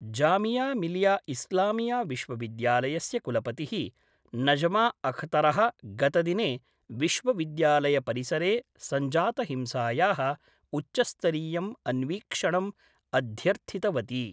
जामियामिलियाइस्लामिया विश्वविद्यालयस्य कुलपति: नजमाअखतर: गतदिने विश्वविद्यालय परिसरे संजात हिंसाया: उच्चस्तरीयम् अन्वीक्षणं अध्यर्थितवती।